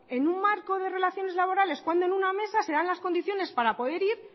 en un marco de relaciones laborales cuándo en una mesa se dan las condiciones para poder ir